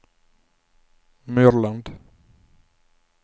Myrland